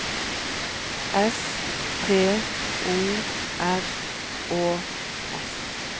S T O R Å S